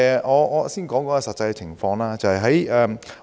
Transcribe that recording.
我先講解一下實際情況。